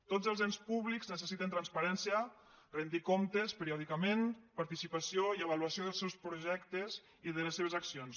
tots els ens públics necessiten transparència retre comptes periòdicament participació i avaluació dels seus projectes i de les seves accions